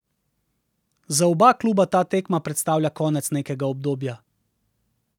Za oba kluba ta tekma predstavlja konec nekega obdobja.